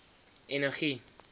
energie